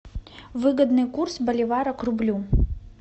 выгодный курс боливара к рублю